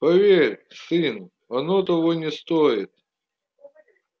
поверь сын оно того не стоит